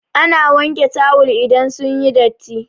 Ana wanke tawul idan sun yi datti.